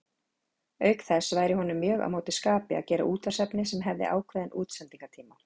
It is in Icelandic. Auk þess væri honum mjög á móti skapi að gera útvarpsefni sem hefði ákveðinn útsendingartíma.